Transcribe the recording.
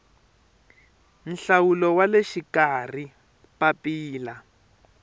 nhlawulo wa le xikarhi papila